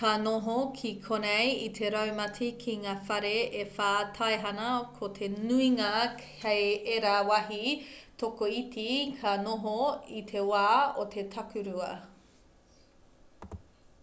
ka noho ki konei i te raumati ki ngā whare e whā taihana ko te nuinga kei ērā wāhi tokoiti ka noho i te wā o te takurua